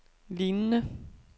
lignende